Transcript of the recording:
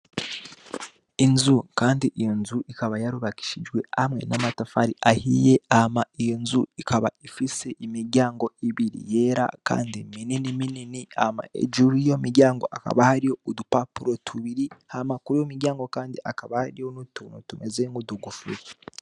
Inzu kandi ikaba yarubakishijwe amwe n'amatafari ahiye hama iyonzu ikaba ifise imiryango yera kandi minini minini, hama hejuru y'iyo miryango hakaba hariho udupapuro tubiri hama kuriyo miryango hakaba hariho utuntu tumeze nk'udukofero.